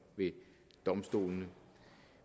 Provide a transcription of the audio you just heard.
ved domstolene